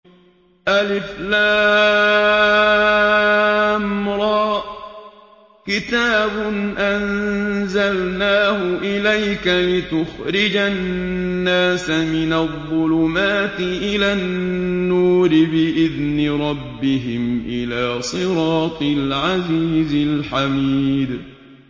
الر ۚ كِتَابٌ أَنزَلْنَاهُ إِلَيْكَ لِتُخْرِجَ النَّاسَ مِنَ الظُّلُمَاتِ إِلَى النُّورِ بِإِذْنِ رَبِّهِمْ إِلَىٰ صِرَاطِ الْعَزِيزِ الْحَمِيدِ